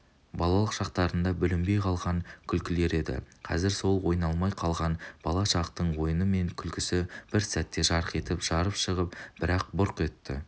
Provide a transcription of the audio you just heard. балалық шақтарында бүлінбей қалған күлкілері еді қазір сол ойналмай қалған бала шақтың ойыны мен күлкісі бір сәтте жарқ етіп жарып шығып бір-ақ бұрқ етті